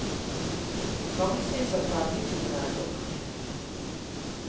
Mange syns at fergeturen er et ork.